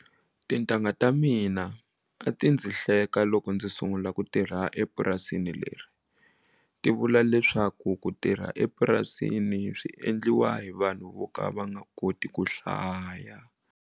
Tintangha ta mina a ti ndzi hleka loko ndzi sungula ku tirha epurasini leri ti vula leswaku ku tirha epurasini swi endliwa hi vanhu vo ka va koti ku hlaya.